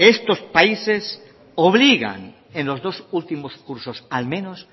estos países obligan en los dos últimos cursos al menos